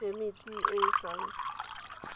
phemiti e e sa nt